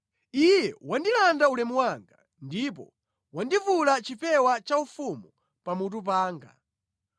Iye wandilanda ulemu wanga ndipo wandivula chipewa chaufumu pamutu panga.